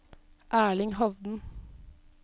Erling Hovden